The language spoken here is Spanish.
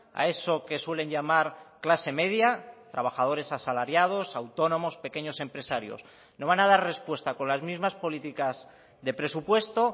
a eso que suelen llamar clase media trabajadores asalariados autónomos pequeños empresarios no van a dar respuesta con las mismas políticas de presupuesto